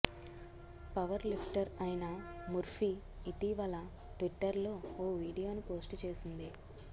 powerlifter అయిన Murphy ఇటీవల ట్విట్టర్లో ఓ వీడియోను పోస్ట్ చేసింది